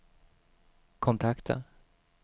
kontakta